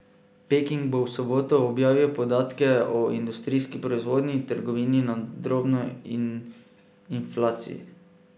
Peking bo v soboto objavil podatke o industrijski proizvodnji, trgovini na drobno in inflaciji.